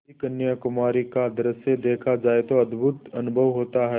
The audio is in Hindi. यदि कन्याकुमारी का दृश्य देखा जाए तो अद्भुत अनुभव होता है